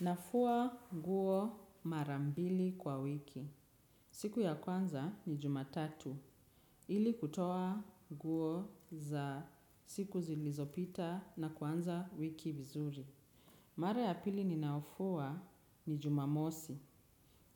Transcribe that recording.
Nafua nguo mara mbili kwa wiki. Siku ya kwanza ni jumatatu. Ili kutoa nguo za siku zilizopita na kuanza wiki vizuri. Mara ya pili ninayofua ni jumamosi.